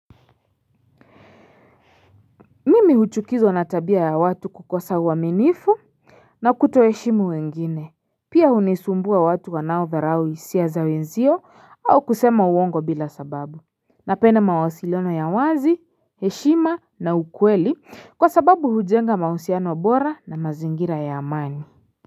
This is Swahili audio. Mimi huchukizo natabia ya watu kukosa uaminifu na kuto heshimu wengine. Pia unisumbua watu wanao dharau hisia za wenzio au kusema uongo bila sababu. Napenda mawasiliano ya wazi, heshima na ukweli kwa sababu hujenga mausiano bora na mazingira ya amani.